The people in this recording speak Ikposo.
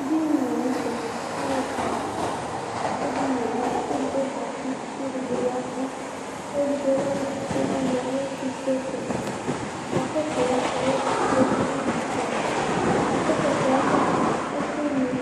Edini dɩ la nʋ tɛ kʋ alʋ ɛfʋa adʋ edini yɛ li Ɔlʋ edigbo zati kʋ ɔlʋ edigbo ya ɛvʋ Ɔlʋ edigbo lɛ ɔlʋkɔsʋ alʋ ayʋ ɛtʋsesɛ Ɔkakɔsʋ ɔsɩ yɛ ayʋ ɛtʋse ayɛtʋ Akɔsʋ ɛkplɔ yɛ ava a, ɛkʋnɩ